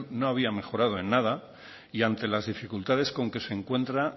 no había mejorado en anda y antes las dificultades con que se encuentra